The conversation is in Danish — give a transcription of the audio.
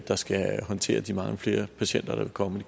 der skal håndtere de mange flere patienter der vil komme